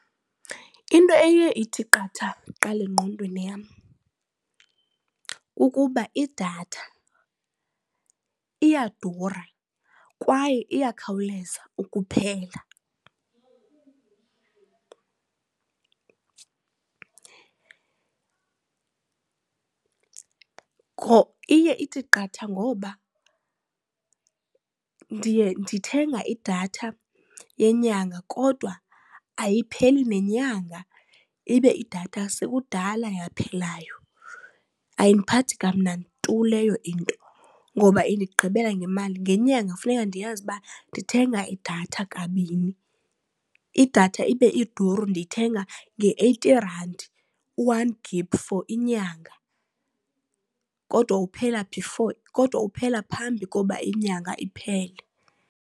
Into eye ithi qatha kuqala engqondweni yam kukuba idatha iyadura kwaye iyakhawuleza ukuphela. Iye ithi qatha ngoba ndiye ndithenga idatha yenyanga kodwa ayipheli nenyanga ibe idatha sekudala yaphelayo. Ayindiphathi kamnandi tu leyo into ngoba indigqibela ngemali. Ngenyanga funeka ndiyazi ukuba ndithenga idatha kabini, idatha ibe iduru ndiyithenga nge-eighty rand u-one gigi for inyanga kodwa uphela before, kodwa uphela phambi koba inyanga iphele.